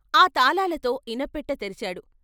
ఆ తాళాలతో ఇనప్పెట్టె తెరిచాడు.